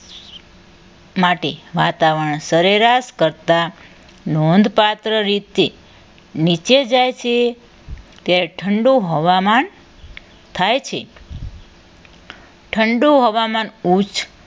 માટી વાતાવરણ સરેરાશ પડતા નોંધપાત્ર રીતે નીચે જાય છે ત્યાં ઠંડુ હવામાન થાય છે ઠંડુ હવામાન ઓચ